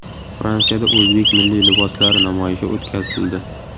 Fransiyada o‘zbek milliy liboslari namoyishi o‘tkazildi.